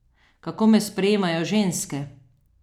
Kako me sprejemajo ženske?